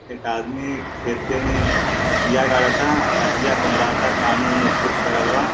एक आदमी खेते में बिया गाड़ता अटिया पउराता कानू -वानू खूब करलबा--